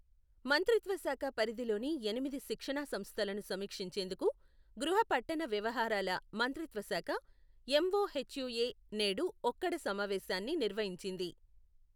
మంత్రిత్వ శాఖ పరిధిలోని ఎనిమిది శిక్షణా సంస్థలను సమీక్షించేందుకు గృహ పట్టణ వ్యవహారాల మంత్రిత్వ శాఖ ఎంఒహెచ్యుఎ నేడు ఒక్కడ సమావేశాన్ని నిర్వహించింది.